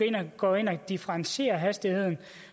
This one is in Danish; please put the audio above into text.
kan gå ind og differentiere hastigheden